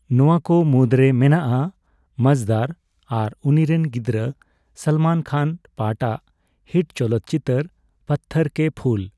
ᱱᱚᱣᱟ ᱠᱚ ᱢᱩᱫ ᱨᱮ ᱢᱮᱱᱟᱜᱼᱟ 'ᱢᱟᱡᱫᱟᱨ' ᱟᱨ ᱩᱱᱤᱨᱮᱱ ᱜᱤᱫᱽᱨᱟᱹ ᱥᱚᱞᱢᱚᱱ ᱠᱷᱟᱱ ᱯᱟᱴᱷᱼᱟᱜ ᱦᱤᱴ ᱪᱚᱞᱚᱛ ᱪᱤᱛᱟᱹᱨ ᱯᱚᱛᱷᱛᱷᱚᱨ ᱠᱮ ᱯᱷᱩᱞ ''᱾